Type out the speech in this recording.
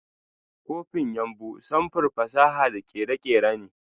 Copin yumbu sanfur fasaha da kere-kere ne.